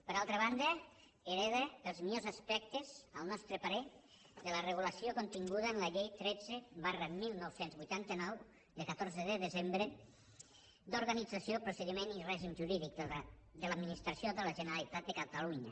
per altra banda hereta els millors aspectes al nostre parer de la regulació continguda en la llei tretze dinou vuitanta nou de catorze de desembre d’organització procediment i règim jurídic de l’administració de la generalitat de catalunya